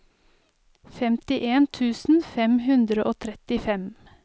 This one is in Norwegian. femtien tusen fem hundre og trettifem